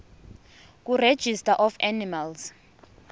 kuregistrar of animals